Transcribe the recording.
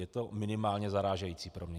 Je to minimálně zarážející pro mě.